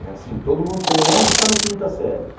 É assim, todo mundo tem onze e está na quinta série.